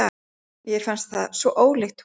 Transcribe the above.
Mér fannst það svo ólíkt honum.